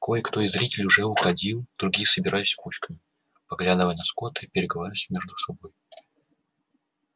кое кто из зрителей уже уходил другие собирались кучками поглядывая на скотта и переговариваясь между собой